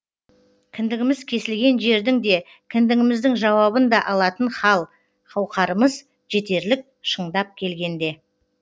кіндігіміз кесілген жердің де кімдігіміздің жауабын да алатын хал қауқарымыз жетерлік шындап келгенде